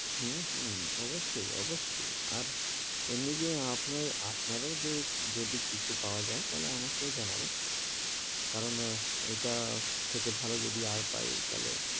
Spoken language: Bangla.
হূ, হূ অবস্যই, অবস্যই, আর, আর এমনি যে আপনার আপনারও যদি কিছু পাওয়া যাই তাহলে আমাকেও জানাবেন, কারণ ইটা থেকে ভালো যদি আর পাই তাহলে,